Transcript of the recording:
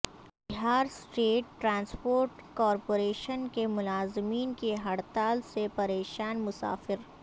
Bihar state transport corporation کے ملازمین کی ہڑتال سے پریشان مسافر